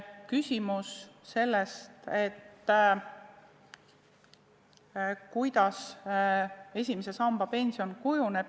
Kuidas esimese samba pension kujuneb?